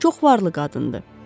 Çox varlı qadındır.